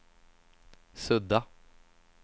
sudda